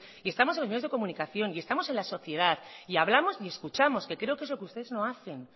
y estamos en los medios de comunicación y estamos en la sociedad y hablamos y escuchamos que creo que es lo que ustedes no hacen